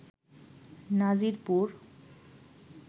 Nazirpur